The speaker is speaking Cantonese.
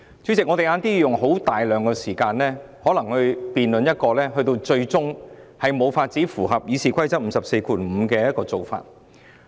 主席，我們稍後要用大量時間，辯論一項可能最終無法符合《議事規則》第545條規定的議案。